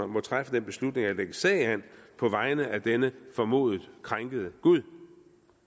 må træffe den beslutning at lægge sag an på vegne af denne formodet krænkede gud